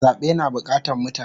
Zabe na bukatan mutane